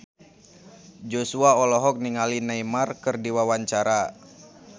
Joshua olohok ningali Neymar keur diwawancara